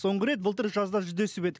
соңғы рет былтыр жазда жүздесіп ед